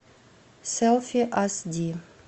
селфи ас ди